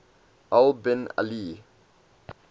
al bin ali